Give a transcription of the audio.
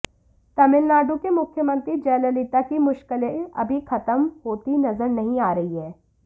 तमिलनाडु की मुख्यमंत्री जयललिता की मुश्किलें अभी खत्म होती नज़र नहीं आ रही हैं